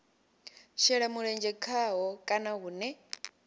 shela mulenzhe khaho kana hune